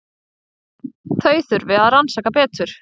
Þau þurfi að rannsaka betur.